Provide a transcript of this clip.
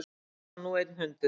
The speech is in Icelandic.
Eitt barn og nú einn hundur